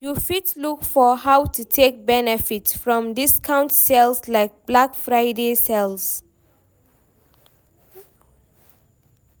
You fit look for how to take benefit from discount sales like black Friday sales